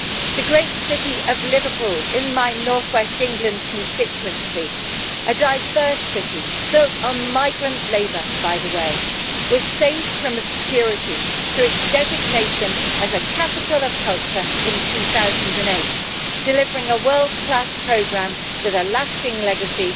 The great city of Liverpool in my Northwest England constituency, a diverse city built on migrant labour by the way, was saved from obscurity through its designation as a Capital of Culture in 2008, delivering a world class programme with a lasting legacy,